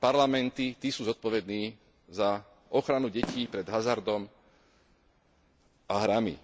parlamenty, tí sú zodpovední za ochranu detí pred hazardom a hrami.